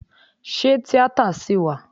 Ṣé tíátà ṣì wà?